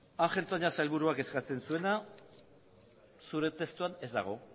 ángel toña sailburuak eskatzen zuena zure testuan ez dago